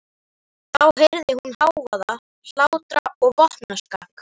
Þá heyrir hún hávaða, hlátra og vopnaskak.